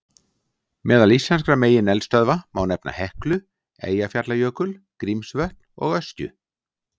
Meðal íslenskra megineldstöðva má nefna Heklu, Eyjafjallajökul, Grímsvötn og Öskju.